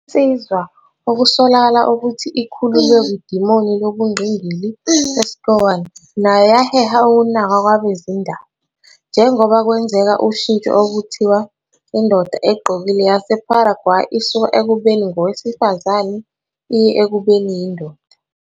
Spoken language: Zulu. Insizwa okusolakala ukuthi ikhululwe kwidimoni lobungqingili e-SCOAN nayo yaheha ukunaka kwabezindaba, njengoba kwenza ushintsho oluthiwa indoda egqokile yaseParaguay isuka ekubeni ngowesifazane iye ekubeni yindoda.